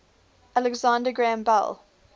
alexander graham bell